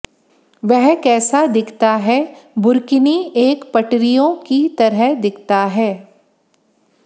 वह कैसा दिखता है बुर्किनी एक पटरियों की तरह दिखता है